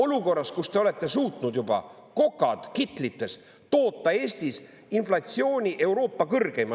Olukorras, kus te olete suutnud juba, kokad kitlites, toota Eestis inflatsiooni Euroopa kõrgeima!